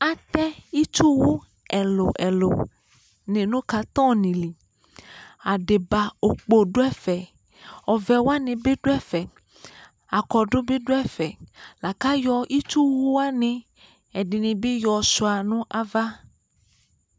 atɛ itsʋwʋ ɛlʋ ɛlʋ ni nu iko nili adiba okpo du ɛfɛ ɔvɛwani bi du ɛfɛ aklatebi du ɛfɛ lakayɔ itsʋwʋwani ɛdinibi yɔshua nava